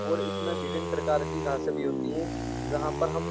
और इसमें विभिन्न प्रकार की धासे भी होती हैं जहाँ पर हम --